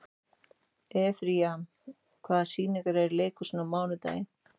Efraím, hvaða sýningar eru í leikhúsinu á mánudaginn?